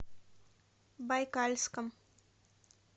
байкальском